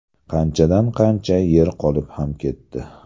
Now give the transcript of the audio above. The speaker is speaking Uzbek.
Qanchadan qancha yer qolib ham ketdi.